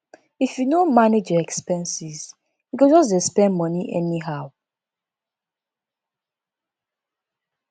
if you no manage your expenses you go just dey spend moni anyhow